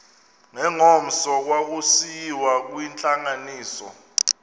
ngengomso kwakusiyiwa kwintlanganiso